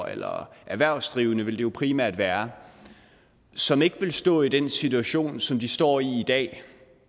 eller erhvervsdrivende ville det jo primært være som ikke ville stå i den situation som de står i i dag